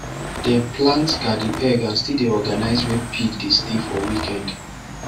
dem plant garden egg and still dey organize where pig dey stay for weekend